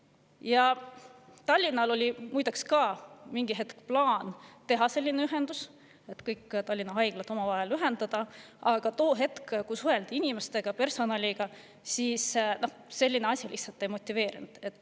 Ka Tallinnal oli muide mingil hetkel plaan teha selline ühendus, ühendada omavahel kõik Tallinna haiglad, aga too hetk, kui suheldi inimestega, personaliga, selline asi neid lihtsalt ei motiveerinud.